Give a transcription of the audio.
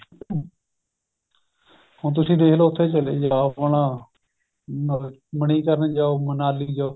ਹੁਣ ਤੁਸੀਂ ਦੇਖਲੋ ਉੱਥੇ ਚਲੇ ਜਾਓ ਆਪਣਾ ਅਮ ਮਨੀਕਰਣ ਜਾਓ ਮਨਾਲੀ ਜਾਓ